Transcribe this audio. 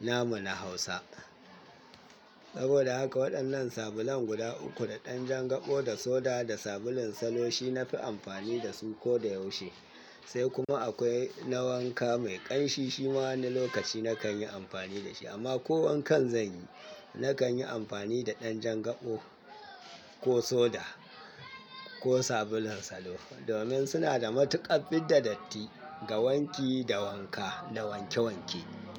namu na Hausa. Saboda haka waɗannan sabulan guda uku da ɗan jan gaɓo da soda da sabulun salo shi na fi amfani da su ko da yaushe. Sai kuma akwai na wanka mai ƙanshi shi ma wani lokaci nakan yi amfani da shi amma ko wankan zan yi, nakan yi amfani da ɗan jan gaɓo ko soda ko sabulun salo domin suna da matuƙar fidda datti ga wanki da wanka da wanke wanke.